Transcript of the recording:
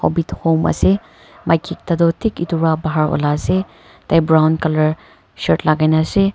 hobbit home ase maiki ekta tu thik etu va bahar ulai ase tai brown color shirt lagai na ase.